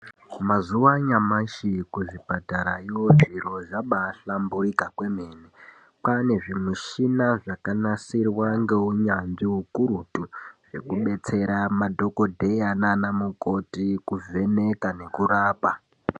Mazuva anyamashi ku zvipatara yo zviro zvabai hlamburika kwemene kwane zvi mishina zvaka nasirwa nge unyanzvi ukurutu zve kubetsera madhokoteya nana mukoti kuvheneka nekurapa.